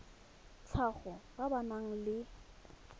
tlhago ba ba nang le